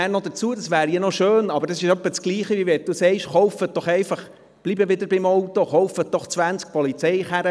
Und nochmals zu diese 2000 Franken: Das ist, als würde man vorschlagen, einfach zwanzig zusätzliche Polizeiautos zu kaufen.